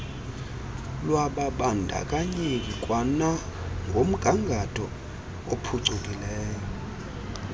lwababandakanyeki kwanangomgangatho ophucukileyo